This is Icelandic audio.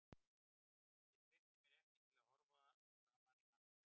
Ég treysti mér ekki til að horfa framan í allt liðið.